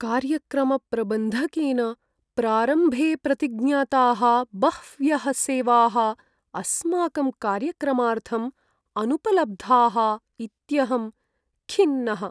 कार्यक्रमप्रबन्धकेन प्रारम्भे प्रतिज्ञाताः बह्व्यः सेवाः अस्माकं कार्यक्रमार्थं अनुपलब्धाः इत्यहं खिन्नः।